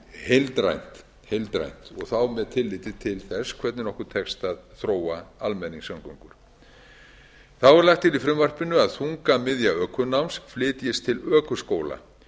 heildrænt og þá með tilliti til þess hvernig okkur tekst að þróa almenningssamgöngur þá er lagt til í frumvarpinu að þungamiðja ökunám flytjist til ökuskóla